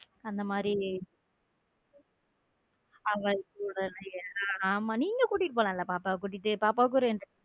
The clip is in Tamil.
அந்த மாதிரி ஆமா நீங்க கூட்டிட்டு போனால பாப்பாவ குட்டிட்டு பாப்பாவுக்கு ஒரு.